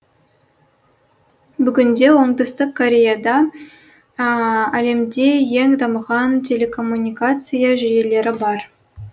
бүгінде оңтүстік кореяда әлемде ең дамыған телекоммуникация жүйелері бар